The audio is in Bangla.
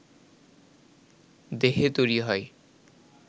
দেহে তৈরি হয়